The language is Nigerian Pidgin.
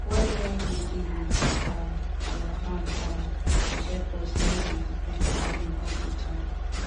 well wen we dig wit um our hand um dey help us nor dey depend on rain all de time